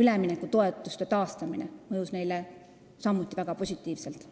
üleminekutoetuste taastamine mõjus neile samuti väga positiivselt.